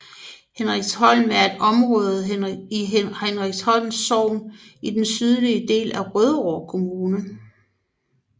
Hendriksholm er et område i Hendriksholm Sogn i den sydlige del af Rødovre Kommune